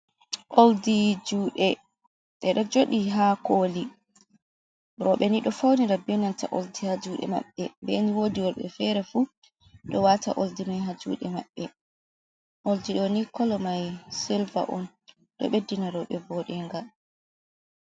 Oldi jude edo jodi ha koli, robe nido faunira benanta oldi ha jude mabbe den wodi worbe fere fu do wata oldi mai ha jude mabbe, oldi do ni kolo mai silva on do beddina robe vodenga.